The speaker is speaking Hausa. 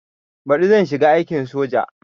Baɗi zan shiga aikin soja